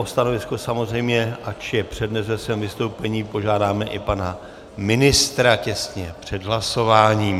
O stanovisko samozřejmě, ač je přednese ve svém vystoupení, požádáme i pana ministra těsně před hlasováním.